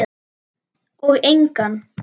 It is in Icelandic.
Og engan.